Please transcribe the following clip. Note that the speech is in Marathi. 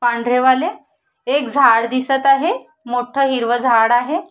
पांढरे वाले एक झाड दिसत आहे मोठ हिरव झाड आहे.